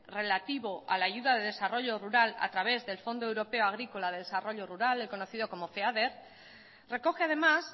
relativo a la ayuda de desarrollo rural a través del fondo europeo agrícola de desarrollo rural el conocido como feader recoge además